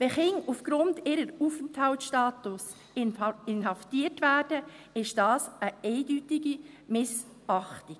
Wenn Kinder aufgrund ihres Aufenthaltsstatus inhaftiert werden, ist das eine eindeutige Missachtung.